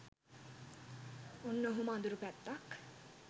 ඔන්න ඔහොම අඳුරු පැත්තක්